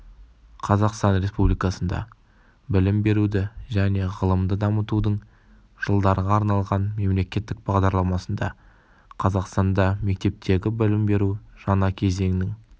қазақстан республикасында білім беруді және ғылымды дамытудың жылдарға арналған мемлекеттік бағдарламасында қазақстанда мектептегі білім беру жаңа кезеңнің